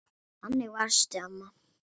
Þannig varstu, amma.